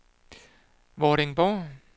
Vordingborg